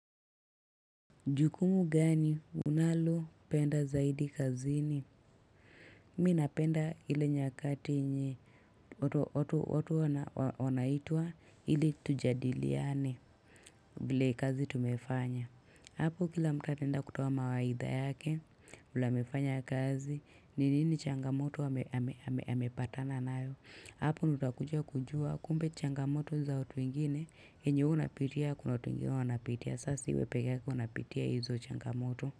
Jukumu gani unalopenda zaidi kazini? Mi napenda ile nyakati yenye watu wanaitwa ili tujadiliane vile kazi tumefanya. Hapo kila mtu ataenda kutoa mawaidha yake, vile amefanya kazi, ni nini changamoto amepatana nayo. Hapo ndio utakuja kujua kumbe changamoto ni za watu wengine yenye wewe unapitia kuna watu wengine wanapitia sasa si wewe pekee unapitia hizo changamoto.